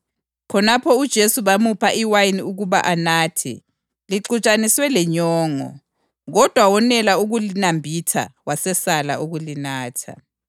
Khonapho uJesu bamupha iwayini ukuba anathe, lixutshaniswe lenyongo; kodwa wonela ukulinambitha wasesala ukulinatha.